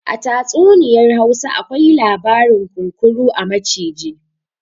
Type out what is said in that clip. A tatsuniyar Hausa akwai labarin kunkuru a maciji